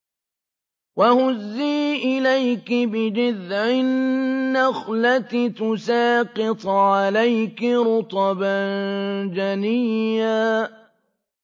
وَهُزِّي إِلَيْكِ بِجِذْعِ النَّخْلَةِ تُسَاقِطْ عَلَيْكِ رُطَبًا جَنِيًّا